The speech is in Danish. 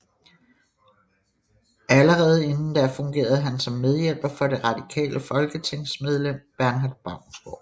Allerede inden da fungerede han som medhjælper for det radikale folketingsmedlem Bernhard Baunsgaard